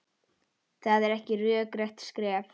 Það er rökrétt skref.